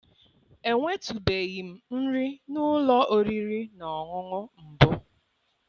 Enwetụbeghị m nri n'ụlọ oriri na ọṅụṅụ mbụ